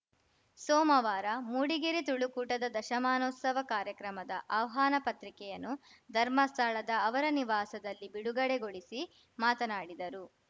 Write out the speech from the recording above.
ಸೋಮವಾರ ಮೂಡಿಗೆರೆ ತುಳುಕೂಟದ ದಶಮಾನೋತ್ಸವ ಕಾರ್ಯಕ್ರಮದ ಆಹ್ವಾನ ಪತ್ರಿಕೆಯನ್ನು ಧರ್ಮಸ್ಥಳದ ಅವರ ನಿವಾಸದಲ್ಲಿ ಬಿಡುಗಡೆಗೊಳಿಸಿ ಮಾತನಾಡಿದರು